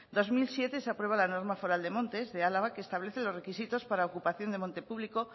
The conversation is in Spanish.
dos mil siete se aprueba la norma foral de montes de álava que establece los requisitos para ocupación de monte público